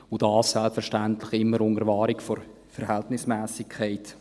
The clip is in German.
Dies selbstverständlich immer unter Wahrung der Verhältnismässigkeit.